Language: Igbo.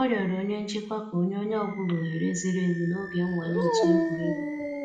Ọ rịọrọ onye nchịkwa ka o nye onye ọ bụla ohere ziri ezi n'oge nnwale otu egwuregwu.